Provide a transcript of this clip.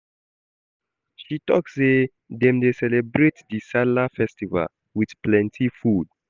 She tok sey dem dey celebrate di Sallah festival wit plenty food.